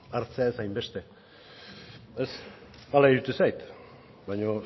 hartzera ez hainbeste ez hala iruditzen zait baina